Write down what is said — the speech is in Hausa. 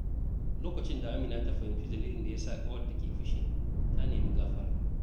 Lokacin da Amina ta fahimci dalilin da ya sa ƙawarta ke fushi, ta nemi gafara.